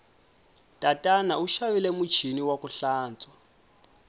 tatana u xavile muchini waku hlantswa